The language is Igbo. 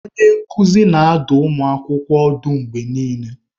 Onye nkuzi na-adụ ụmụ akwụkwọ ọdụ mgbe niile.